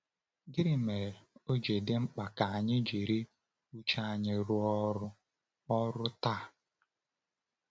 Gịnị mere o ji dị mkpa ka anyị jiri uche anyị rụọ ọrụ ọrụ taa?